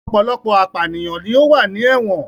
Ọ̀pọ̀lọpọ̀ apànìyàn ló wà ní ẹ̀wọ̀n